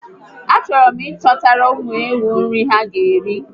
A chọrọ m ị chọtara ụmụ ewu nri ha ga eri